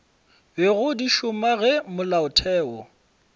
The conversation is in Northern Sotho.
bego di šoma ge molaotheo